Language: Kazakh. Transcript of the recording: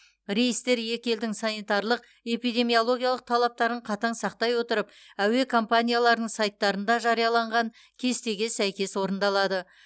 рейстер екі елдің санитарлық эпидемиологиялық талаптарын қатаң сақтай отырып әуе компанияларының сайттарында жарияланған кестеге сәйкес орындалады